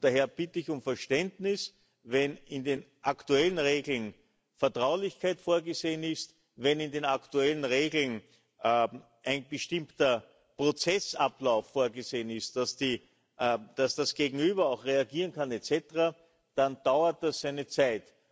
Daher bitte ich um Verständnis, wenn in den aktuellen Regeln Vertraulichkeit vorgesehen ist, wenn in den aktuellen Regeln ein bestimmter Prozessablauf vorgesehen ist, dass das Gegenüber auch reagieren kann et cetera, dann dauert das seine Zeit.